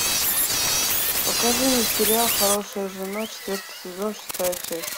покажи мне сериал хорошая жена четвертый сезон шестая часть